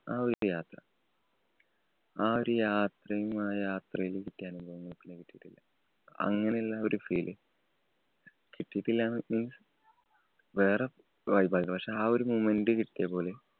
ആ ഒരു യാത്ര ആ ഒരു യാത്രയും, ആ യാത്രയില്‍ കിട്ടിയ അനുഭവങ്ങളും പിന്നെ കിട്ടിയിട്ടില്ല. അങ്ങനെ ഉള്ള ഒരു feeling കിട്ടിയിട്ടില്ലാന്ന് means വേറെ vibe ആയിരുന്നു. പക്ഷേ, ആ ഒരു moment കിട്ടിയപോലെ